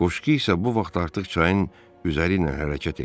Qoşqu isə bu vaxt artıq çayın üzəri ilə hərəkət eləyirdi.